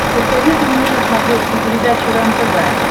посоветуй мне на смотрешке передачу рентв